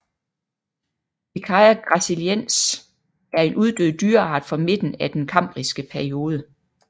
Pikaia gracilens er en uddød dyreart fra midten af den kambriske periode